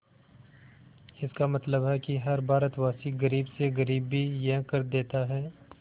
इसका मतलब है कि हर भारतवासी गरीब से गरीब भी यह कर देता है